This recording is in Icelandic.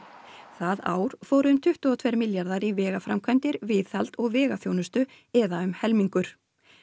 það ár fóru um tuttugu og tveir milljarðar í vegaframkvæmdir viðhald og vegaþjónustu eða um helmingur